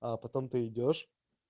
а потом ты идёшь